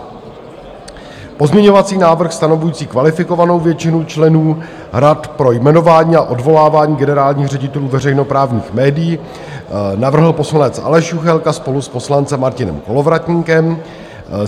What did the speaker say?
Pozměňovací návrh stanovující kvalifikovanou většinu členů rad pro jmenování a odvolávání generálních ředitelů veřejnoprávních médií navrhl poslanec Aleš Juchelka spolu s poslancem Martinem Kolovratníkem.